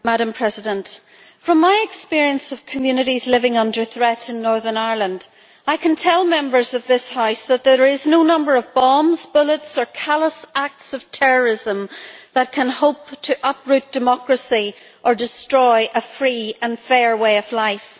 Madam President, from my experience of communities living under threat in Northern Ireland, I can tell Members of this House that there is no number of bombs, bullets, or callous acts of terrorism that can hope to uproot democracy or destroy a free and fair way of life.